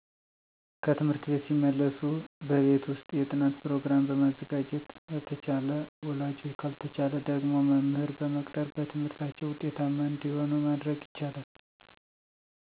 ከትምህርት ቤት ሲመለሱ በቤት ውስጥ የጥናት ፕሮገራም በመዘጋጀት አተቻለ ወላጆች ካልተቻለ ደግሞ መምህር በመቅጠር በትምህርታቸው ውጤታማ እንደመሆኑ ማድረግ ይቻላል